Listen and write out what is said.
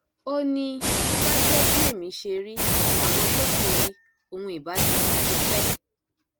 ó ní bó bá jẹ bí ẹmí ṣe rí làwọn tó kù rí òun ìbá ti kú tipẹ